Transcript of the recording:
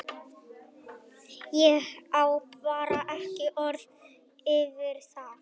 Ég á bara ekki orð yfir það.